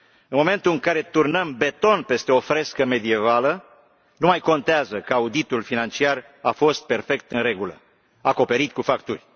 În momentul în care turnăm beton peste o frescă medievală nu mai contează că auditul financiar a fost perfect în regulă, acoperit cu facturi.